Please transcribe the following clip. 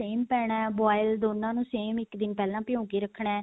same ਪੈਣਾ ਹੈ boil ਦੋਨਾਂ ਨੂੰ same ਇੱਕ ਦਿੰਨ ਪਹਿਲਾ ਭਿਓ ਕੇ ਰੱਖਣਾ